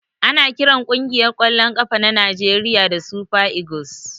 Ana kiran kungiyar kwallon kafa na Najeriya da " super eagles".